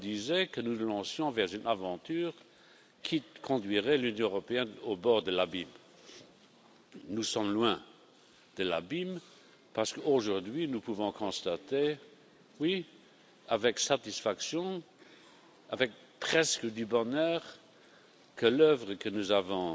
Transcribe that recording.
le monde nous disait que nous nous lancions dans une aventure qui conduirait l'Union européenne au bord de l'abîme. Nous sommes loin de l'abîme, parce qu'aujourd'hui nous pouvons constater avec satisfaction, presque avec bonheur, que l'œuvre que nous avons